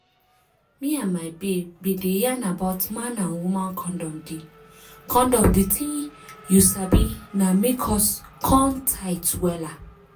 me and my babe bin dey yarn about man and woman condom di condom di tin you sabi na make us come tight wella